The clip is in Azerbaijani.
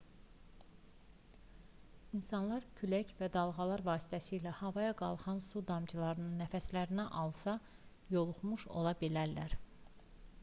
i̇nsanlar külək və dalğalar vasitəsilə havaya qalxan su damcılarını nəfəslərinə alsa yoluxmuş ola bilərlər